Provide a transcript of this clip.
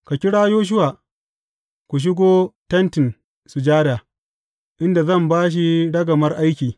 Ka kira Yoshuwa, ku shigo Tentin Sujada, inda zan ba shi ragamar aiki.